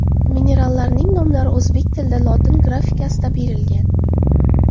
Minerallarning nomlari o‘zbek tilida lotin grafikasida berilgan.